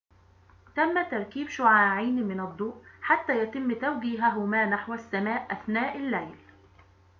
تم تركيب شعاعين من الضوء حتى يتم توجيههما نحو السماء أثناء الليل